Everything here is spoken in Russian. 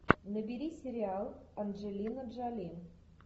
набери сериал анджелина джоли